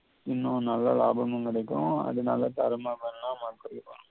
இன்னும் நல்ல லாபமும் கிடைக்கும் அதனால தேறமா